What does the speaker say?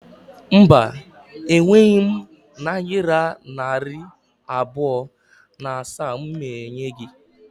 Mba, e nweghị m nayira narị abụọ na asaa m ga ebinye gi